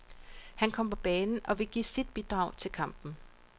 Han kom på banen og ville give sit bidrag til kampen.